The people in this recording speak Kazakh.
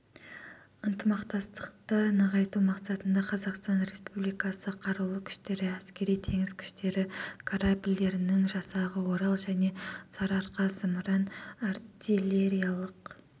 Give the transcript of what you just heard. ынтымақтастықты нығайту мақсатында қазақстан республикасы қарулы күштері әскери-теңіз күштері корабльдерінің жасағы орал және сарыарқа зымыран-артиллериялық